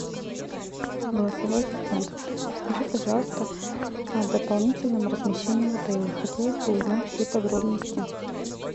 голосовой ассистент скажи пожалуйста о дополнительном размещении в отеле хотелось бы узнать все подробности